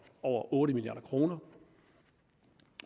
over otte milliard kroner